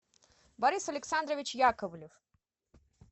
борис александрович яковлев